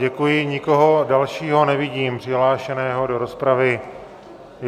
Děkuji, nikoho dalšího nevidím přihlášeného do rozpravy.